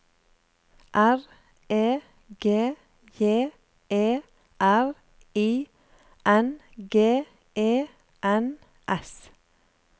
R E G J E R I N G E N S